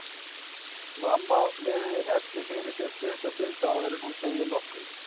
Mamma virðir Eddu fyrir sér stutta stund áður en hún segir nokkuð.